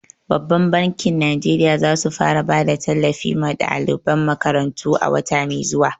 Babbar bankin Najeriya za su fara bada tallafi ma daliban makarantu a wata mai zuwa.